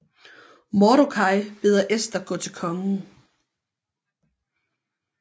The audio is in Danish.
Mordokaj beder Ester gå til kongen